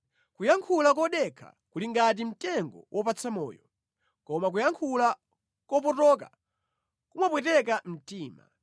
Kuyankhula kodekha kuli ngati mtengo wopatsa moyo, koma kuyankhula kopotoka kumapweteka mtima.